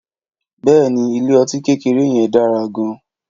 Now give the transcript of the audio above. Bèéní, ìlé õtí kékérè yen dàrá gan